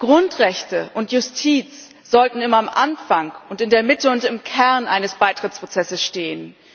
Grundrechte und Justiz sollten immer am Anfang und in der Mitte, im Kern, eines Beitrittsprozesses stehen.